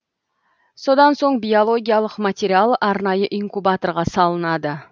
содан соң биологиялық материал арнайы инкубаторға салынады